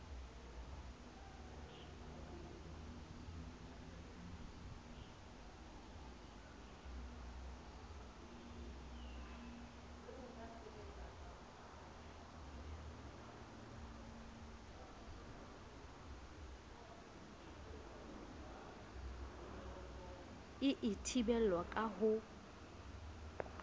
e a thibelwa ka ho